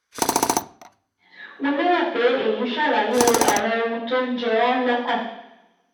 Mo lérò pe eyi ṣalaye awọn ohun tó ń jẹ ọọ́ lọ́kàn